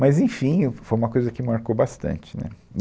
Mas, enfim, é, foi uma coisa que marcou bastante, né.